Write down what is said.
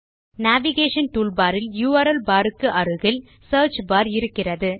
navigation toolbar இல் URL bar க்கு அருகில் சியர்ச் பார் இருக்கிறது